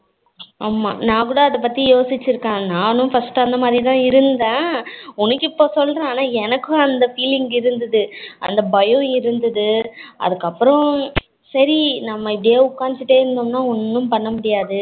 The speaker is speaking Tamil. ஆமா நா கூட அத பத்தி யோசிச்சிருக்கேன், நானும் first அந்த மாதிரி தான் இருந்தேன் உனக்கு இப்போ சொல்லுறேன் ஆனா எனக்கும் அந்த feeling இருந்தது அந்த பயம் இருந்தது அதுக்கு அப்பறம் சரி நம்ம இப்படியே உக்காந்துக்கிட்டே இருந்தோம்னா ஒண்ணும் பண்ண முடியாது